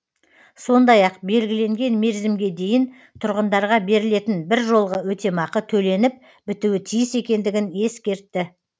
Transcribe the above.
сондай ақ белгіленген мерзімге дейін тұрғындарға берілетін біржолғы өтемақы төленіп бітуі тиіс екендігін ескертті